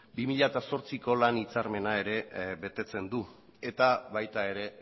bi mila zortziko lan hitzarmena ere betetzen du eta baita ere